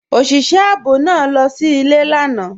Ọṣìṣẹ̀ ààbò náà lọ sí ilẹ̀ lànà.